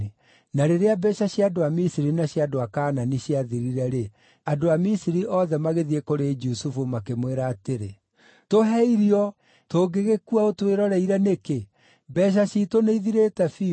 Na rĩrĩa mbeeca cia andũ a Misiri na cia andũ a Kaanani ciathirire-rĩ, andũ a Misiri othe magĩthiĩ kũrĩ Jusufu, makĩmwĩra atĩrĩ, “Tũhe irio. Tũngĩgĩkua ũtwĩroreire nĩkĩ? Mbeeca ciitũ nĩithirĩte biũ.”